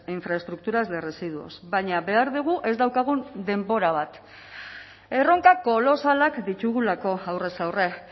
infraestructuras de residuos baina behar dugu ez daukagun denbora bat erronka kolosalak ditugulako aurrez aurre